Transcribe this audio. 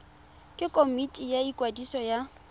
ke komiti ya ikwadiso ya